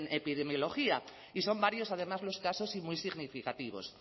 en epidemiología y son varios además los casos y muy significativos